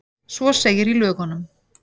Svo segir í lögunum.